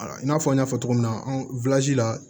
I n'a fɔ n y'a fɔ cogo min na an la